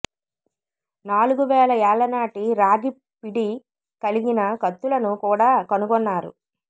నాలుగు వేల ఏళ్లనాటి రాగి పిడి కలిగిన కత్తులను కూడా కనుగొన్నారు